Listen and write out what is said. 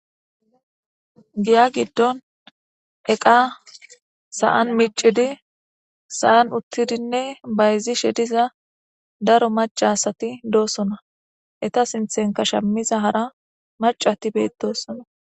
Giya giddon eqa sa'an micidi sa'an uttidinne bayzi shediza daro macasati doossona eta sinthenka shammiza hara macati beetossona